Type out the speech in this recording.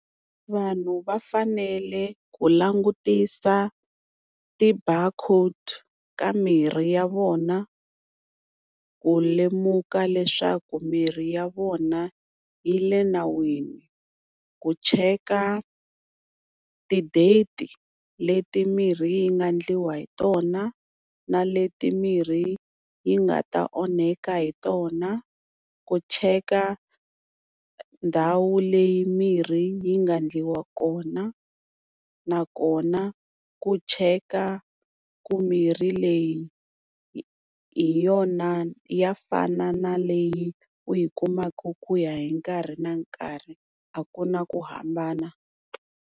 Vanhu va fanele ku langutisa ti-bar code ka mirhi ya vona, ku lemuka leswaku mirhi ya vona yi le nawini, ku cheka ti-date leti mirhi yi nga endliwa hi tona na leti mirhi yi nga ta onheka hi tona, ku cheka ndhawu leyi mirhi yi nga ndliwa kona, nakona ku cheka ku mirhi leyi hi yona ya fana na leyi u yi kumaka ku ya hi nkarhi na nkarhi a ku na ku hambana.